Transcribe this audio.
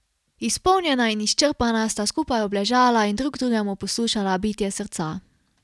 Izpolnjena in izčrpana sta skupaj obležala in drug drugemu poslušala bitje srca.